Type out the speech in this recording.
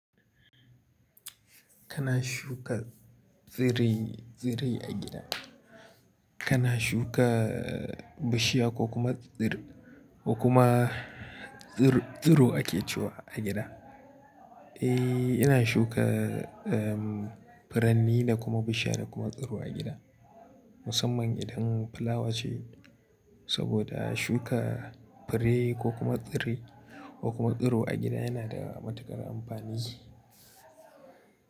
Kana shuka tsirai, tsirai a gida? Kana shuka bishiya ko kuma tsir, ko kuma tsir-tsiro ake cewa a gida? Eh, ina shuka, um, furanni da kuma bishiya da kuma tsiru a gida. Musamman idan fulawa ce saboda shuka fure ko kuma tsire ko kuma tsiro a gida yana da matuƙar amfani.